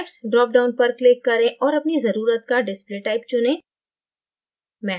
typesड्राप down पर click करें और अपनी जरुरत का display typeचुनें